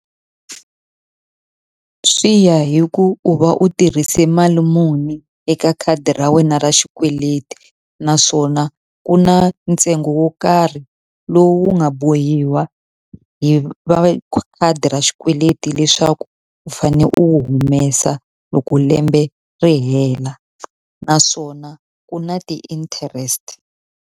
Swi ya hi ku u va u tirhise mali muni eka khadi ra wena ra xikweleti, naswona ku na ntsengo wo karhi lowu wu nga bohiwa hi va khadi ra xikweleti leswaku u fanele u wu humesa loko lembe ri hela. Naswona ku na ti-interest.